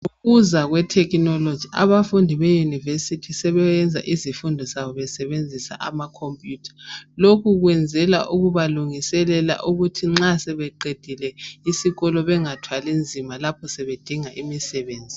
Ngokuza kwethekhinoloji abafundi beyunivesithi sebesenza izifundo zabo besebenzisa amakhompuyutha. Lokhu kwenzelwa ukubalungiselela ukuthi nxa sebeqedile isikolo bengathwali nzima lapho sebedinga imisebenzi.